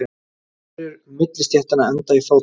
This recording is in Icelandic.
Telur millistéttina enda í fátækt